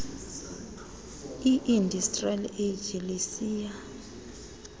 industrial age lisiya